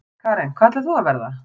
Karen: Hvað ætlar þú að verða?